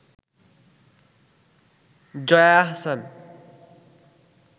Jaya Ahsan